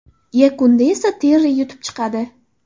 Yakunda esa Terri yutib chiqadi.